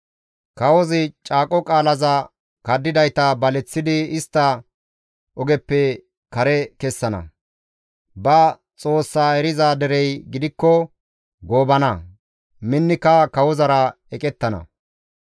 Kawozi caaqo qaalaza kaddidayta baleththidi istta ogeppe istta kare kessana; ba Xoossaa eriza derey gidikko goobana; minnika kawozara eqettana.